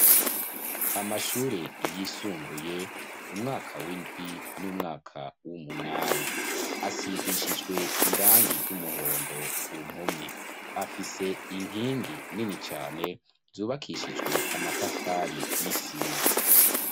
Amashure yisumbuye umwaka w'indwi b'umwaka w'umunani, asigishijwe irangi ry'umuhondo ku mpome, afise inkingi nini cane, zubakishijwe amatafari n'isima.